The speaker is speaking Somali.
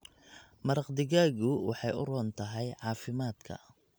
Maraq digaagu waxay u roon tahay caafimaadka.